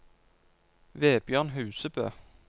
Vebjørn Husebø